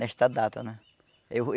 Nesta data, né? Eu